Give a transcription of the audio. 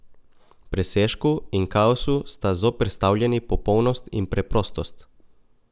Presežku in kaosu sta zoperstavljeni popolnost in preprostost.